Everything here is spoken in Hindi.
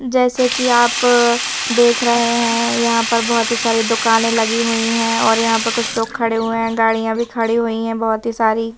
जैसे कि आप देख रहे हैं यहाँ पर बहुत ही सारी दुकानें लगी हुई हैं और यहाँ पर कुछ लोग खड़े हुए हैं गाड़ियां भी खड़ी हुई हैं बहुत ही सारी--